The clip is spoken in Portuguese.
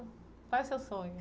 Qual é o seu sonho?